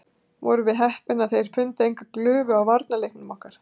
Vorum við heppnir að þeir fundu engar glufur á varnarleiknum okkar?